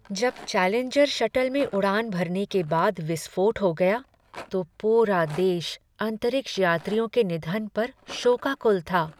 जब Challenger shuttle में उड़ान भरने के बाद विस्फोट हो गया तो पूरा देश अंतरिक्ष यात्रियों के निधन पर शोकाकुल था।